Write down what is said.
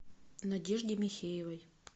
надежде михеевой